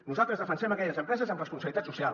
nosaltres defensem aquelles empreses amb responsabilitat social